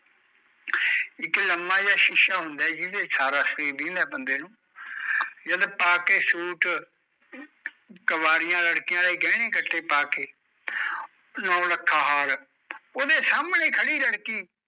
ਇੱਕ ਲਮਾ ਜਿਹਾ ਸ਼ੀਸ਼ਾ ਹੁੰਦਾ ਐ ਜਿਹਦੇ ਚ ਸਾਰਾ ਸਰੀਰ ਦਿਖਦਾ ਬੰਦੇ ਨੂੰ ਜਦ ਪਾਕੇ ਸੂਟ ਕੁਵਾਰੀਆ ਲੜਕੀਆਂ ਆਲੇ ਗਹਿਣੇ ਗੱਟੇ ਪਾਕੇ ਨੋ ਲੱਖਾ ਹਾਰ, ਉਹਦੇ ਸਾਹਮਣੇ ਖੜੀ ਲੜਕੀ